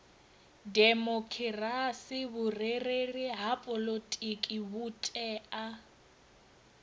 demokhirasi vhurereli ha poḽotiki vhutea